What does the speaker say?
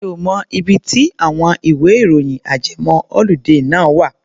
Mi ò mọ ibi tí àwọn ìwẹ́-ìròyìn ajẹmọ́-ọludé náà wà.